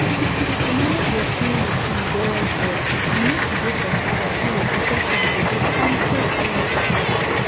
to manage your pill routine wellwell you need to dey consis ten t so your protection go dey kampe all the time